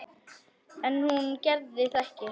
En hún gerði það ekki.